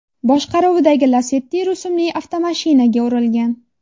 boshqaruvidagi Lacetti rusumli avtomashinaga urilgan.